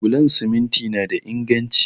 Bulon siminti na da inganci